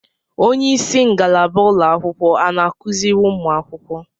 onyeisi ngalaba ụlọakwụkwọ ana akuzịrị ụmụ akwụkwọ?